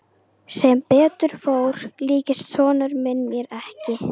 Sem betur fór líktist sonur minn mér ekki.